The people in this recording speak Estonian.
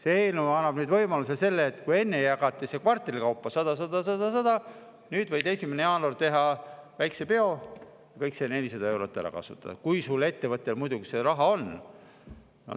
See eelnõu annab võimaluse selleks – enne jagati see ära kvartalite kaupa, 100, 100, 100, 100 –, et nüüd võib 1. jaanuaril teha väikese peo, kõik see 400 eurot ära kasutada, kui ettevõtjal muidugi see raha on.